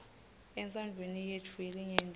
entsandvweni yetfu yelinyenti